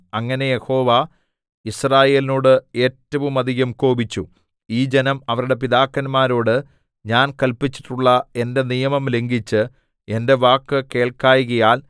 അങ്ങനെ യഹോവ യിസ്രായേലിനോട് ഏറ്റവുമധികം കോപിച്ചു ഈ ജനം അവരുടെ പിതാക്കന്മാരോട് ഞാൻ കല്പിച്ചിട്ടുള്ള എന്റെ നിയമം ലംഘിച്ച് എന്റെ വാക്ക് കേൾക്കായ്കയാൽ